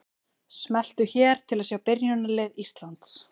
Smelltu hér til að sjá byrjunarlið Íslands.